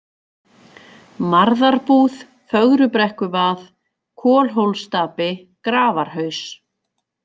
Marðarbúð, Fögrubrekkuvað, Kolhólsstapi, Grafarhaus